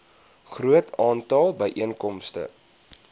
groot aantal byeenkomste